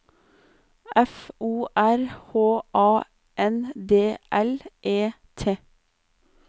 F O R H A N D L E T